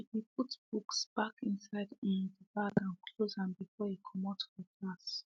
she be put books back inside um dey bag and close am before e comot for class